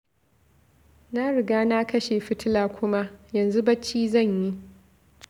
Na riga na kashe fitila kuma, yanzu bacci zan yi